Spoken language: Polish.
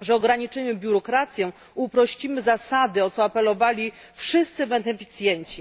że ograniczymy biurokrację, uprościmy zasady, o co apelowali wszyscy beneficjenci.